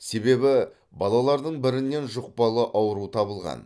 себебі балалардың бірінен жұқпалы ауру табылған